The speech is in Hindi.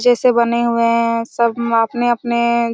अच्छे से बने हुए है सब म अपने-अपने--